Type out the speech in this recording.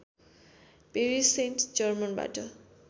Paris Saint जर्मनबाट